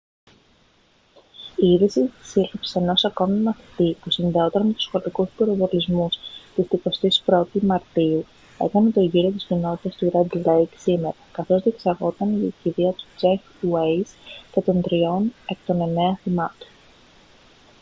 η είδηση της σύλληψης ενός ακόμη μαθητή που συνδεόταν με τους σχολικούς πυροβολισμούς της 21η μαρτίου έκανε τον γύρο της κοινότητας του ρεντ λέικ σήμερα καθώς διεξάγονταν οι κηδείες του τζεφ ουέιζ και των τριών εκ των εννέα θυμάτων